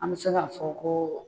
An mi se k'a fɔ ko